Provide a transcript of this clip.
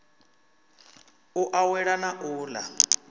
u awela na u ḽa